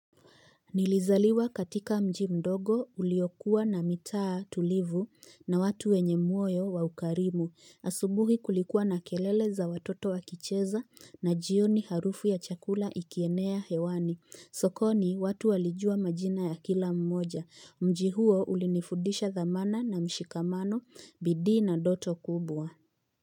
Nilizaliwa katika mji mdogo uliokuwa na mitaa tulivu na watu wenye muoyo wa ukarimu. Asubuhi kulikuwa na kelele za watoto wa kicheza na jioni harufu ya chakula ikienea hewani. Sokoni watu walijua majina ya kila mmoja. Mji huo ulinifudisha thamana na mshikamano bidii na doto kubwa.